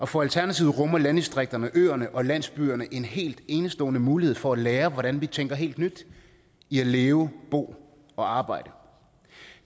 for alternativet rummer landdistrikterne øerne og landsbyerne en helt enestående mulighed for at lære hvordan vi tænker helt nyt i at leve bo og arbejde